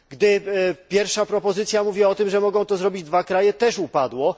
Gdy pierwsza propozycja mówiła o tym, że mogą to zrobić dwa kraje, też upadła.